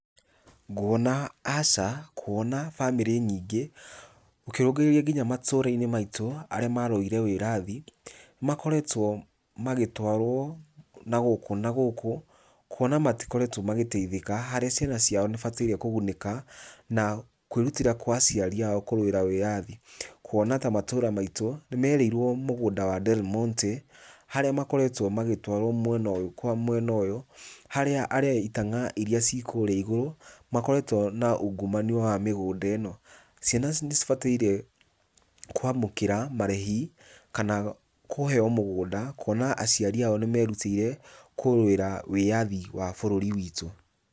Nguona aca, kuona bamĩrĩ nyingĩ ũkĩrũngĩrĩrĩa nginya matũra-inĩ maitũ arĩa marũĩrĩire wĩyathi, makoretwo magĩtwarwo nagũkũ nagũkũ, kuona matikoretwo magĩteithĩka harĩ ciana ciao ibataire kũgunĩka na kwĩrutĩra kwa aciari ao kũrũĩra wĩyathi. Kuona ta matũra maitũ nĩmerĩirwo mũgũnda wa Delmonte harĩa makoretwo magĩtwarwo mwena ũyũ kwa mwena ũyũ, harĩa he itang'a iria ci kũrĩa igũrũ, makoretwo na ungumania wa mĩgũnda ĩno. Ciana nĩcibataire kwamũkĩra marĩhi kana kũheo mũgũnda, kũona aciari ao nĩmerũtĩire kũrũĩra wĩyathi wa bũrũri witũ.